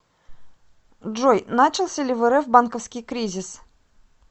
джой начался ли в рф банковский кризис